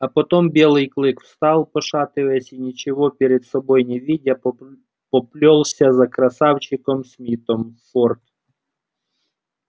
а потом белый клык встал пошатываясь и ничего перед собой не видя поплёлся за красавчиком смитом в форт